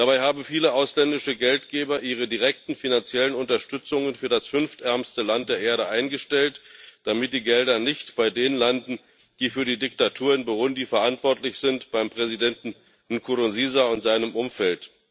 Dabei haben viele ausländische Geldgeber ihre direkten finanziellen Unterstützungen für das fünftärmste Land der Erde eingestellt, damit die Gelder nicht bei denen landen, die für die Diktatur in Burundi verantwortlich sind, beim Präsidenten Nkurunziza und seinem Umfeld.